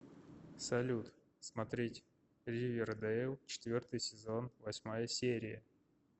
салют смотреть ривердейл четвертый сезон восьмая серия